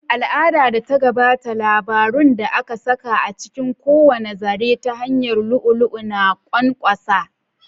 Al'adar da ta gabata, labarun da aka saƙa a cikin kowane zare ta hanyar lu'u-lu'u na ƙwanƙwasa.